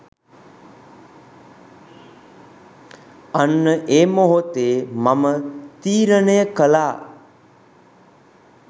අන්න ඒ මොහොතේ මම තීරණය කළා